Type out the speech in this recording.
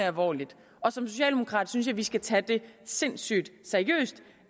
alvorligt og som socialdemokrat synes jeg at vi skal tage det sindssygt seriøst